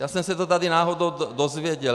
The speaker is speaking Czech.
Já jsem se to tady náhodou dozvěděl.